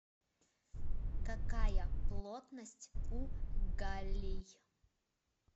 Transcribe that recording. какая плотность у галлий